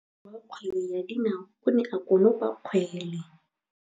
Motshameki wa kgwele ya dinaô o ne a konopa kgwele.